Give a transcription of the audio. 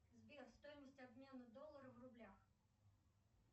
сбер стоимость обмена доллара в рублях